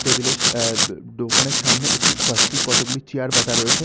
Table এর আআ দোকানের সামনে একটি কয়েকটি কতগুলি চেয়ার পাতা রয়েছে।